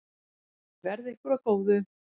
Verði ykkur að góðu.